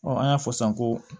an y'a fɔ san ko